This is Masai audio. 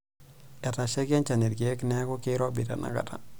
Etashaikia enchan ilkeek neeku keirobi tenakata.